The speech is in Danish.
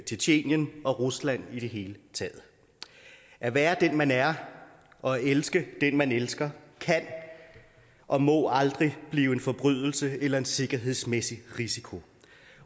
tjetjenien og rusland i det hele taget at være den man er og at elske den man elsker kan og må aldrig blive en forbrydelse eller en sikkerhedsmæssig risiko